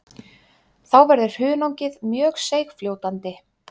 Þá verður hunangið mjög seigfljótandi.